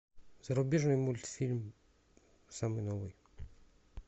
зарубежный мультфильм самый новый